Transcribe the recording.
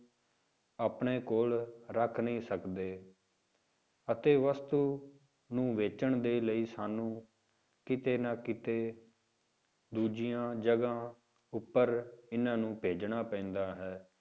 ਆਪਣੇ ਕੋਲ ਰੱਖ ਨਹੀਂ ਸਕਦੇ ਅਤੇ ਵਸਤੂ ਨੂੰ ਵੇਚਣ ਦੇ ਲਈ ਸਾਨੂੰ ਕਿਤੇ ਨਾ ਕਿਤੇ ਦੂਜੀਆਂ ਜਗ੍ਹਾਂ ਉੱਪਰ ਇਹਨਾਂ ਨੂੰ ਭੇਜਣਾ ਪੈਂਦਾ ਹੈ।